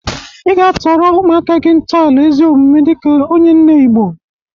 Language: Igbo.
Ị ga-atọrọ ụmụaka gị ntọala ezi omume dịka onye nne Igbo.